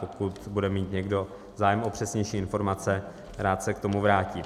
Pokud bude mít někdo zájem o přesnější informace, rád se k tomu vrátím.